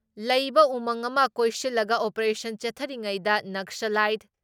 ꯂꯩꯕ ꯎꯃꯪ ꯑꯃ ꯀꯣꯏꯁꯤꯜꯂꯒ ꯑꯣꯄꯦꯔꯦꯁꯟ ꯆꯠꯊꯔꯤꯉꯩꯗ ꯅꯛꯁꯂꯥꯏꯠ